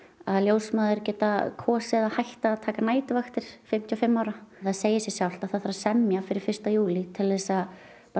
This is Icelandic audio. að ljósmæður geta kosið að hætta að taka næturvaktir fimmtíu og fimm ára það segir sig sjálft að það þarf að semja fyrir fyrsta júlí til að